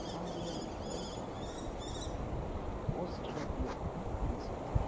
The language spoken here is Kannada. ಹಾಗೆ ಈ ಪೋಸ್ಟ್‌ ಆಫೀಸ್‌ ನ ಪಕ್ಕದಲ್ಲಿ ಪೋಸ್ಟ್‌ ಡಬ್ಬಿಯು ಕೂಡ ಕಾಣಿಸುತ್ತಿದೆ.